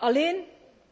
Alleen